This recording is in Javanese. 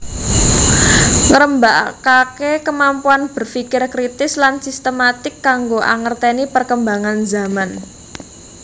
Ngrembakakake kemampuan berfikir kritis lan sistematik kanggo angerteni perkembangan zaman